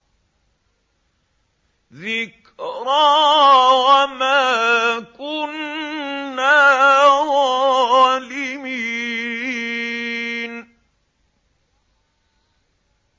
ذِكْرَىٰ وَمَا كُنَّا ظَالِمِينَ